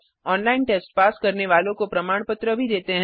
online test pass करने वालों को प्रमाण पत्र भी देते हैं